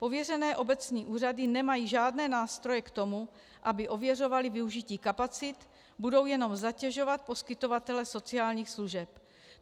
Pověřené obecní úřady nemají žádné nástroje k tomu, aby ověřovaly využití kapacit, budou jenom zatěžovat poskytovatele sociálních služeb.